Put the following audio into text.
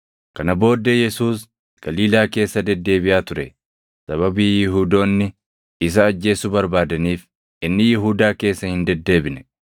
Kana booddee Yesuus Galiilaa keessa deddeebiʼaa ture; sababii Yihuudoonni isa ajjeesuu barbaadaniif inni Yihuudaa keessa hin deddeebine.